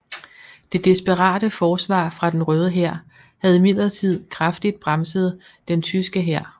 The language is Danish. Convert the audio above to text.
Det desperate forsvar fra den Røde Hær havde imidlertid kraftigt bremset den tyske hær